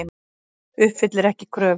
Uppfyllir ekki kröfur